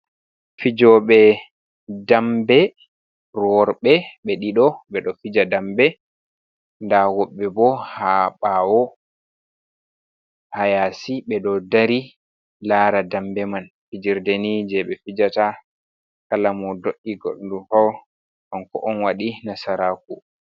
fijooɓe, dambe worɓe ɓe ɗiɗo, ɓe ɗo fija dambe nda woɓɓe ɓo haa ɓaawo haa yaasi ɓe ɗo dari laara, dambe man fijerde ni je ɓe fijata kala mo do’i goɗɗo fuu kanko on waɗi nasaraaku.